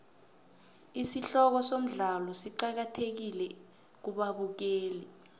isihloko somdlalo siqakathekile kubabukeli